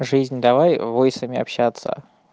жизнь давай войсами общаться